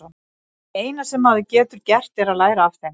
Það eina sem maður getur gert er að læra af þeim.